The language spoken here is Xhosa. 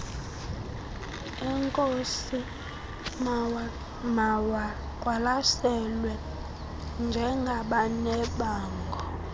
eenkosi mawaqwalaselwe njengabanebango